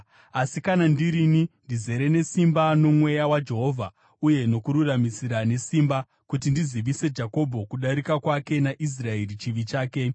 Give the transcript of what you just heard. Asi kana ndirini, ndizere nesimba, noMweya waJehovha, uye nokururamisira nesimba, kuti ndizivise Jakobho kudarika kwake naIsraeri chivi chake.